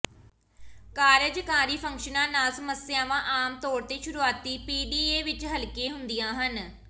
ਕਾਰਜਕਾਰੀ ਫੰਕਸ਼ਨਾਂ ਨਾਲ ਸਮੱਸਿਆਵਾਂ ਆਮ ਤੌਰ ਤੇ ਸ਼ੁਰੂਆਤੀ ਪੀਡੀਏ ਵਿਚ ਹਲਕੇ ਹੁੰਦੀਆਂ ਹਨ